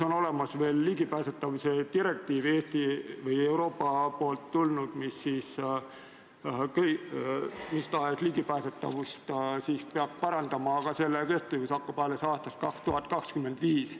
On ka olemas Euroopa Liidu ligipääsetavuse direktiiv, mis igasugust ligipääsetavust peab parandama, aga see hakkab kehtima alles aastal 2025.